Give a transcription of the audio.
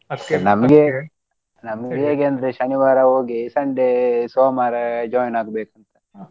ನಮ್ಗೆ ಹೇಗಂದ್ರೆ ಶನಿವಾರ ಹೋಗಿ Sunday ಸೋಮವಾರ join ಆಗ್ಬೇಕು.